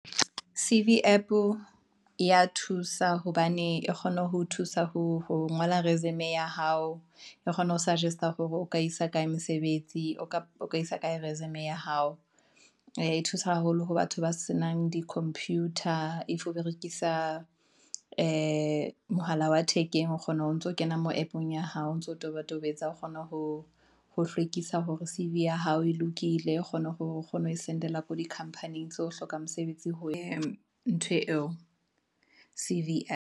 C_V App ya thusa hobane e kgone ho thusa ho ngola resume ya hao, e kgone ho suggest a hore o ka isa kae resume ya hao, ee thusa haholo ho batho ba senang di-computer. If o berekisa mohala wa ee thekeng, o kgona ho ntso kena mo app-ong ya hao, o ntso tobetobetsa, o kgona ho hlwekisa hore C_V ya hao e lokile, o kgona ho send-ela ko di-company tse ho hloka mosebetsi ntho eo C_V.